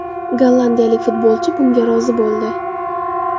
Gollandiyalik futbolchi bunga rozi bo‘ldi.